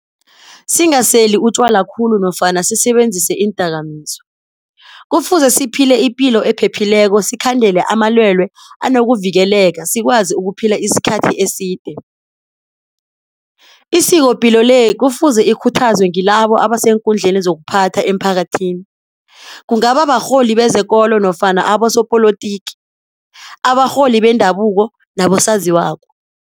Singaseli utjwala khulu nofana sisebenzise iindakamizwa. Kufuze siphile ipilo ephephileko sikhandele amalwele anokuvikeleka sikwazi ukuphila isikhathi eside. Isikopilo le kufuze ikhuthazwe ngilabo abaseenkhundleni zokuphatha emphakathini, kungaba barholi bezekolo nofana abasopolotiki, abarholi bendabuko nabosaziwako.